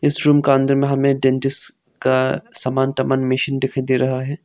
इस रूम का अंदर में हमें डेंटिस्ट का सामान दिखाई दे रहा है।